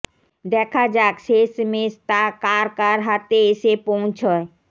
দেখা যাক শেষমেশ তা কার কার হাতে এসে পৌছয়